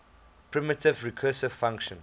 primitive recursive function